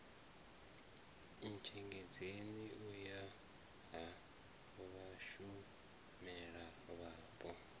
ntshengedzeni u ya ha vhashumelavhapo